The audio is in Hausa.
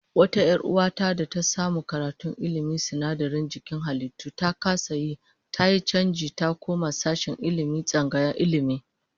Wata 'yar uwa ta da ta samu karatun ilmin sinadaran jikin halittu, ta kasa yi, tayi chanji ta koma sashen Ilmi a tsangayar Ilmi